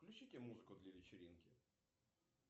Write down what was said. включите музыку для вечеринки